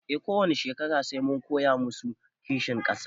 E a kowani shekara sai mun koya masu kishin ƙasa